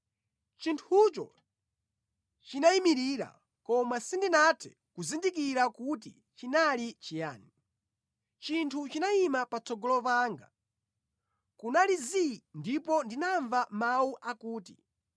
Chinthucho chinayimirira koma sindinathe kuzindikira kuti chinali chiyani. Chinthu chinayima patsogolo panga, kunali zii ndipo ndinamva mawu akuti,